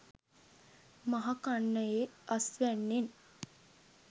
මහ කන්නයේ අස්වැන්නෙන්